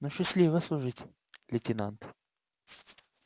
ну счастливо служить лейтенант